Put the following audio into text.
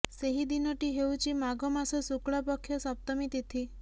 ସେହି ଦିନଟି ହେଉଛି ମାଘ ମାସ ଶୁକ୍ଳପକ୍ଷ ସପ୍ତମୀ ତିଥି